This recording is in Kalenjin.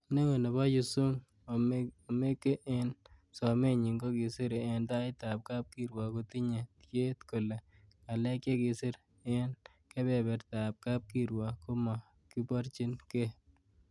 Neo nebo Yusung, Omeke, en somenyin kokisir en taitab kapkirwok kotinye tiet kole ngalek chekikisir en kebebertab kapkirwok komo kiborchin gee.